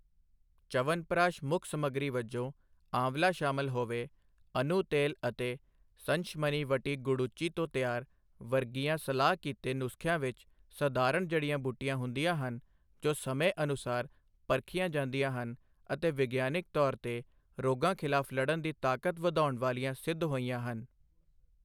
ਚਵਨਪ੍ਰਾਸ਼ ਮੁੱਖ ਸਮੱਗਰੀ ਵਜੋਂ ਆਂਵਲਾ ਸ਼ਾਮਲ ਹੋਵੇ, ਅਨੂ ਤੇਲ ਅਤੇ ਸੰਸ਼ਮਨੀ ਵਟੀ ਗੁੜੂਚੀ ਤੋਂ ਤਿਆਰ ਵਰਗੀਆਂ ਸਲਾਹ ਕੀਤੇ ਨੁਸਖਿਆਂ ਵਿੱਚ ਸਧਾਰਨ ਜੜੀਆਂ ਬੂਟੀਆਂ ਹੁੰਦੀਆਂ ਹਨ ਜੋ ਸਮੇਂ ਅਨੁਸਾਰ ਪਰਖੀਆਂ ਜਾਂਦੀਆਂ ਹਨ ਅਤੇ ਵਿਗਿਆਨਕ ਤੌਰ ਤੇ ਰੋਗਾਂ ਖ਼ਿਲਾਫ਼ ਲੜਨ ਦੀ ਤਾਕਤ ਵਧਾਉਣ ਵਾਲੀਆਂ ਸਿੱਧ ਹੋਈਆਂ ਹਨ।